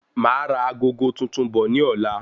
Máa ra agogo tuntun bọ̀ ní ọ̀la